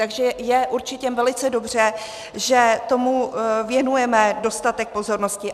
Takže je určitě velice dobře, že tomu věnujeme dostatek pozornosti.